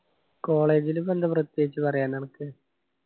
college ലു പ്പോ ന്താ പ്രത്യേകിച്ച് പറയാൻ അനക്ക്